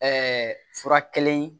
fura kelen